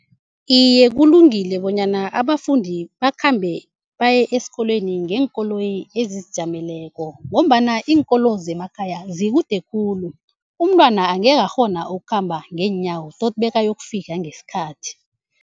Iye, kulungile bonyana abafundi bakhambe baye esikolweni ngeenkoloyi ezizijameleko ngombana iinkolo zemakhaya zikude khulu, umntwana angekhe akghona ukukhamba ngeenyawo toti bekayokufika ngesikhathi.